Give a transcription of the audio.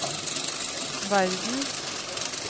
verdens